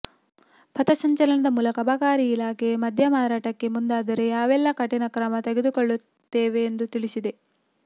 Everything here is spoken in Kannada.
ಫಥಸಂಚಲನ ಮೂಲಕ ಅಬಕಾರಿ ಇಲಾಖೆ ಮದ್ಯ ಮಾರಾಟಕ್ಕೆ ಮುಂದಾದರೆ ಯಾವೆಲ್ಲ ಕಠಿಣ ಕ್ರಮ ತೆಗೆದುಕೊಳ್ಳುತ್ತೇವೆ ಎಂದು ತಿಳಿಸಿದೆ